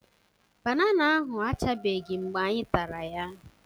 Banana ahụ achabeghị mgbe anyị tara ya